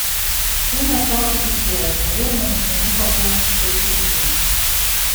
сын остался без связи наверно нужно ему пополнить счет телефона